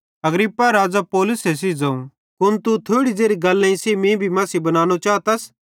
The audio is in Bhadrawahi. अग्रिप्पा राज़े पौलुसे सेइं ज़ोवं कुन तू थोड़ी ज़ेरी गल्लेईं सेइं मीं तू मसीही बनानो चातस